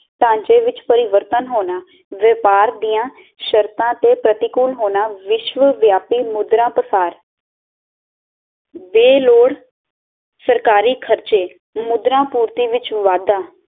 ਵਪਾਰ ਦੀਆਂ ਸ਼ਰਤਾਂ ਤੇ ਪ੍ਰਤੀਕੂਲ ਹੋਣਾ ਵਿਸ਼ਵ ਵਿਆਪੀ ਮੁਦਰਾ ਪਸਾਰ ਦੇ ਲੋੜ ਸਰਕਾਰੀ ਖਰਚੇ ਮੁੰਦਰਾਂ ਪੂਰਤੀ ਵਿੱਚ ਵਾਧਾ